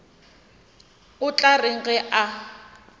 o tla reng ge a